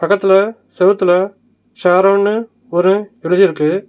பக்கத்துல செவுத்துல ஷாரோன்னு ஒரு எழுதிருக்கு.